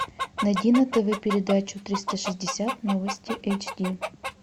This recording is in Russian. найди на тв передачу триста шестьдесят новости эйч ди